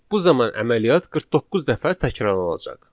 Bu zaman əməliyyat 49 dəfə təkrarlanacaq.